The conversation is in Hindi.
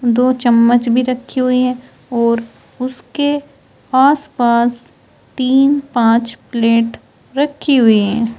दो चम्मच भी रखी हुई है और उसके आसपास तीन पांच प्लेट रखी हुई है।